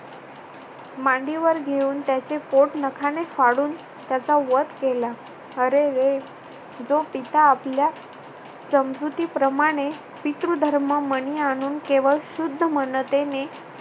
मांडीवर घेऊन त्याचे पोट नखाने फाडून त्याचा वध केला. अरेरे! जो पिता आपल्या समजुतीप्रमाणे पितृ धर्म मणी आणून केवळ शुद्ध मनतेने